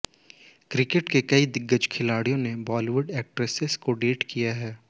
cricket के कई दिग्गज खिलाड़ियों ने बॉलीवुड के एक्ट्रेसेस को डेट किया है